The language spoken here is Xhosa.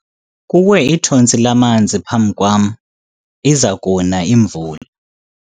Kuwe ithontsi lamanzi phambi kwam , iza kuna imvula.